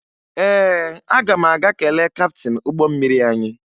Ee, aga m aga kelee kaptịn ụgbọ mmiri anyị